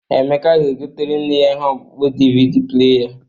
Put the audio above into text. Emeka ga-egoter nne ya ihe ọkpụkpọ DVD pleya